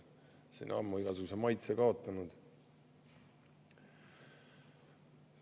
See on ammu igasuguse maitse kaotanud.